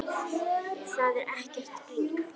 Það er ekkert grín.